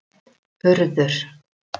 Urður